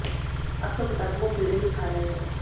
अब तो किताबों को कीड़े ही खा रहे हैं